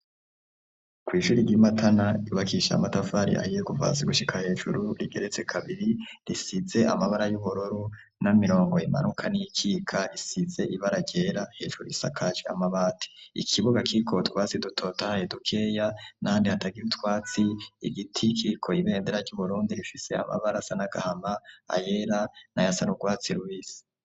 Ku ishuri ry'Imatana ryubakishije amatafari ahiye ku hasi gushika hejuru rigeretse kabiri risize amabara y'ubururu n'imirongo imanuka n'ikika risize ibara ryera hejuru isakaje amabati ikibuga kiriko utwatsi dutotahaye dukeya n'ahandi hatariko utwatsi igiti kiriko ibendera ryu Burundi rifise amabara asa n'agahama ayera na yasa n'ugwatsi rubisi.